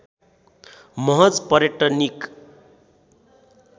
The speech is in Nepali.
महज पर्यटनिक